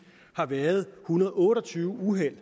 har været en hundrede og otte og tyve uheld